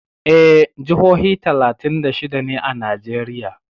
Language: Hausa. Eh, jihohi talatin da shida ne a Najeriya.